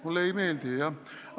Mulle ei meeldi, jah!